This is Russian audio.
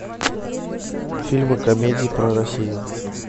фильмы комедии про россию